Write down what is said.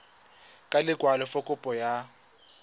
ka lekwalo fa kopo ya